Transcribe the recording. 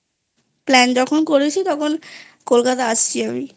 Plan যখন করেছি তখন কলকাতা আসছি আমি।